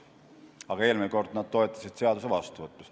Aga eelmisel korral nad toetasid seaduse vastuvõtmist.